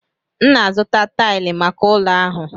M na-azụta taịlị maka ụlọ ahụ.